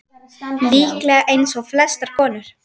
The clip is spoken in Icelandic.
Líklega eins og flestar konur.